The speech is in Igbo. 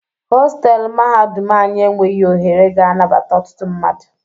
Hostelụ mahadum anyi enweghị ohere ga anabata ọtụtụ mmadụ.